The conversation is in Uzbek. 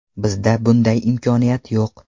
Bizda bunday imkoniyat yo‘q.